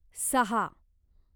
सहा